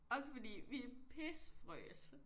Også fordi vi pissefrøs